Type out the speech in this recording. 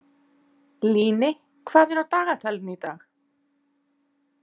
Líni, hvað er á dagatalinu í dag?